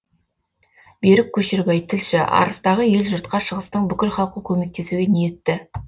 берік көшербай тілші арыстағы ел жұртқа шығыстың бүкіл халқы көмектесуге ниетті